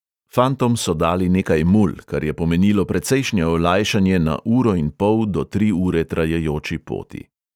Fantom so dali nekaj mul, kar je pomenilo precejšnje olajšanje na uro in pol do tri ure trajajoči poti.